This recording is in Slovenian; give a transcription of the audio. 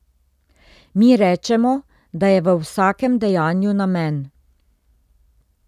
Mi rečemo, da je v vsakem dejanju namen.